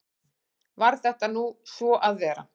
Varð þetta nú svo að vera.